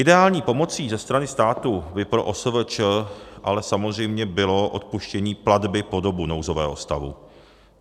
Ideální pomocí ze strany státu by pro OSVČ ale samozřejmě bylo odpuštění platby po dobu nouzového stavu.